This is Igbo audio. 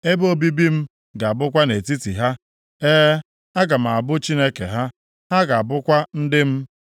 Ebe obibi m ga-abụkwa nʼetiti ha. E, aga m abụ Chineke ha, ha ga-abụkwa ndị m.